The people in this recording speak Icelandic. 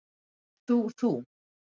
Ert þú þú?